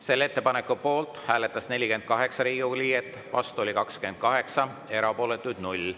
Selle ettepaneku poolt hääletas 48 Riigikogu liiget, vastu oli 28, erapooletuid 0.